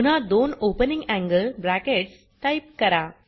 पुन्हा दोन opening angle brackets type करा